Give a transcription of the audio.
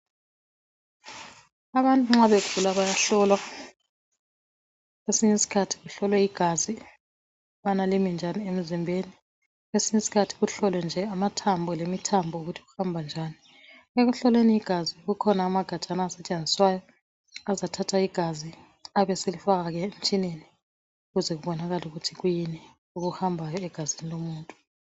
Abantu nxa begula bayahlolwa kwesinye isiikhathi bahlolwe igazi ukubana limi njani emzimbeni kwesinye iskhathi kuhlolwe nje amathambo lemithambo ukuthi kuhamba njani. Ekuhlolweni igazi kukhona amagajana asetshenziswayo bazathatha igazi abaselifaka ke emtshineni ukuze kubonakale ukuthi kuyini okuhambayo egazini lomuntu.